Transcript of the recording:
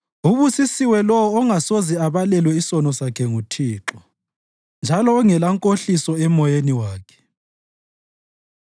Ubusisiwe lowo ongasoze abalelwe isono sakhe nguThixo, njalo ongelankohliso emoyeni wakhe.